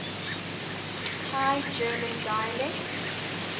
high german dialects